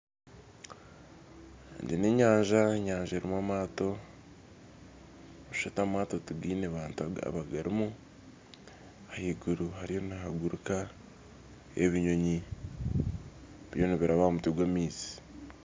Egi n'enyanja, enyanja erimu amaato nooshusha amaato tigaine abantu abagarimu ahaiguru hariyo nihaguruka ebinyoonyi biriyo nibiraba aha mutwe gw'amaizi